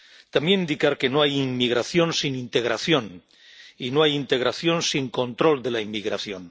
También indicar que no hay inmigración sin integración, y no hay integración sin control de la inmigración.